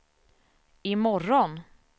imorgon